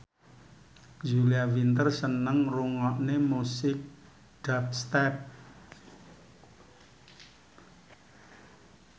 Julia Winter seneng ngrungokne musik dubstep